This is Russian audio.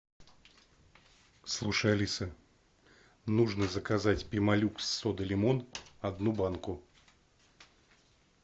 слушай алиса нужно заказать пемолюкс сода лимон одну банку